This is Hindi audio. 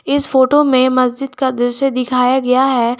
इस फोटो में मस्जिद का दृश्य दिखाया गया है।